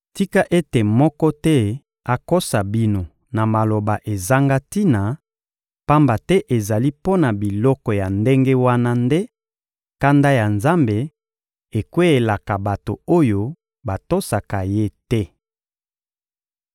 Tika ete moko te akosa bino na maloba ezanga tina, pamba te ezali mpo na biloko ya ndenge wana nde kanda ya Nzambe ekweyelaka bato oyo batosaka Ye te.